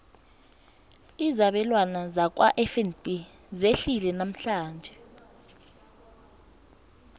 izabelwana zakwafnb zehlile namhlanje